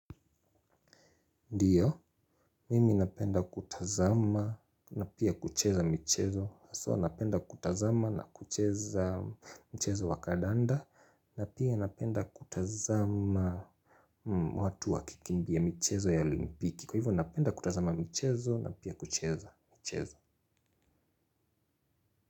Ndio, mimi napenda kutazama na pia kucheza mchezo. So, napenda kutazama na kucheza mchezo wa kadanda. Napia napenda kutazama watu wakikimbia michezo ya olimpiki. Kwa hivyo, napenda kutazama michezo na pia kucheza mchezo.